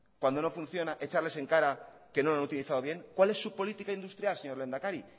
cuando no funciona echarles en cara que no lo han utilizado bien cuál es su política industrial señor lehendakari